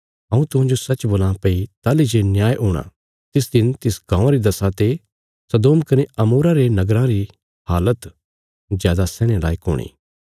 हऊँ तुहांजो सच्च बोलां भई ताहली जे न्याय हूणा तिस दिन तिस गाँवां री दशा ते सदोम कने अमोरा रे नगराँ री हालत जादा सैहणे लायक हूणी